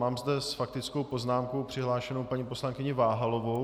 Mám zde s faktickou poznámkou přihlášenou paní poslankyni Váhalovou.